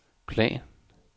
plan